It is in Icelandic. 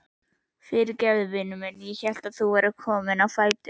Fyrirgefðu, vinur minn, ég hélt þú værir kominn á fætur.